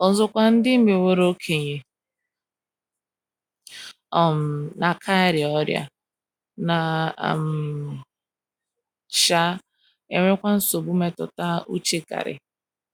Ọzọkwa, ndị meworo okenye.. um. na - aka arịa ọrịa, na um - um enwekwa nsogbu mmetụta uche karị.